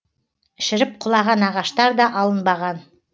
шіріп құлаған ағаштар да алынбаған